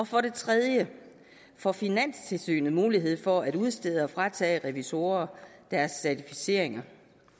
for det tredje får finanstilsynet mulighed for at udstede certifikater og fratage revisorer deres certificeringer